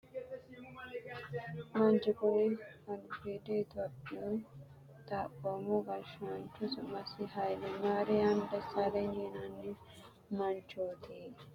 Manchu kuni albiidi itiyophiyu xaphoomu gashshaancho su'masi Haayile maariyaam Dessaaleny yinanni manchooti. Kuni manchi Itiyophiya gashshi yannara mannu giwamanni qarriseenna gashshoote umisi agurino.